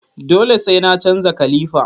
Dole sai na canza kalifa